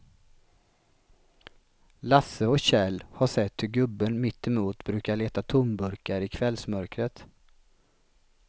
Lasse och Kjell har sett hur gubben mittemot brukar leta tomburkar i kvällsmörkret.